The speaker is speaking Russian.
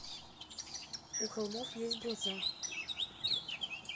у холмов есть глаза